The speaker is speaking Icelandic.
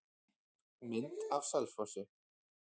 Mynd af Selfossi.